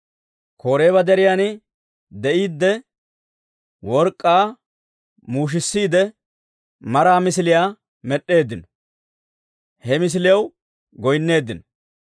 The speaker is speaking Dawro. Koreeba Deriyan de'iiddi, work'k'aa muushisiide maraa misiliyaa med'd'eeddino; he misiliyaw goyinneeddino.